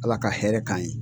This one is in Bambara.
Ala ka hɛrɛ k'an ye.